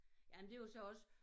Jamen det jo så også